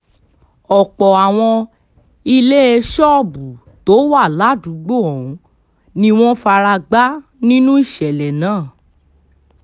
ọ̀pọ̀ àwọn ilé ṣọ́ọ̀bù tó wà ládùúgbò ọ̀hún ni wọ́n fara gbá nínú ìṣẹ̀lẹ̀ náà